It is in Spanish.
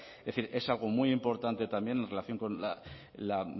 es decir es algo muy importante también en relación con la